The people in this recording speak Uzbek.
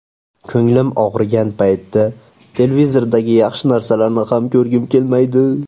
Ko‘nglim og‘rigan paytda televizordagi yaxshi narsalarni ham ko‘rgim kelmaydi.